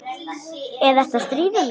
Eða ertu að stríða mér?